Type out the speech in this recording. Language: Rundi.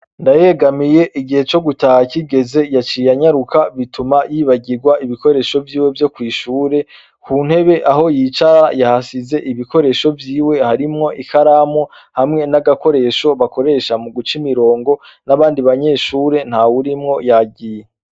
Ndayegamiye igihe co gutaha kigeze yaciye anyaruka bituma yibagirwa ibikoresho vyiwe vyo kw'ishure, mu ntebe aho yicara yahasize ibikoresho vyiwe harimwo ikaramu hamwe n'agakoresho bakoresha muguca imirongo n'abandi banyeshure ntawurimwo yagiye.